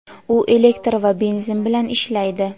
u elektr va benzin bilan ishlaydi.